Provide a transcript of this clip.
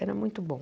Era muito bom.